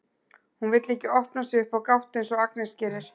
Hún vill ekki opna sig upp á gátt eins og Agnes gerir.